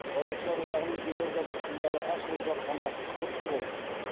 жазушылар одағының елордада филиалы ашылып жатқаны құтты болсын